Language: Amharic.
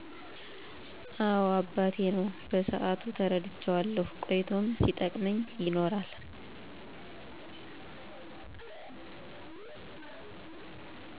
አወ አባቴ ነው በሰአቱ ተረድቸዋለሁ ቆይቶም ሲጠቅመኝ ይኖራል